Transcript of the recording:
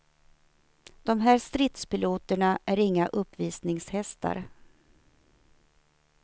De här stridspiloterna är inga uppvisningshästar.